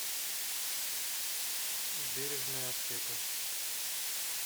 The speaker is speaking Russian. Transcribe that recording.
бережная аптека